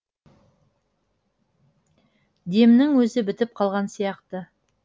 демнің өзі бітіп қалған сияқты